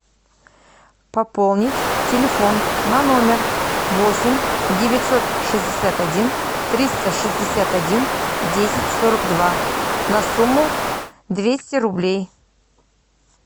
пополнить телефон на номер восемь девятьсот шестьдесят один триста шестьдесят один десять сорок два на сумму двести рублей